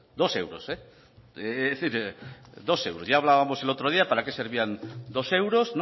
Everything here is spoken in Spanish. dos euros ya hablábamos el otro día para qué servían dos euros